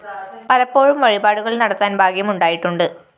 പലപ്പോഴും വഴിപാടുകള്‍ നടത്താന്‍ ഭാഗ്യം ഉണ്ടായിട്ടുണ്ട്